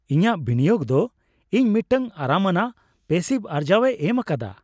ᱤᱧᱟᱹᱜ ᱵᱤᱱᱤᱭᱳᱜ ᱫᱚ ᱤᱧ ᱢᱤᱫᱴᱟᱝ ᱟᱨᱟᱢ ᱟᱱᱟᱜ ᱯᱮᱥᱤᱵᱷ ᱟᱨᱡᱟᱹᱣᱮ ᱮᱢ ᱟᱠᱟᱫᱟ ᱾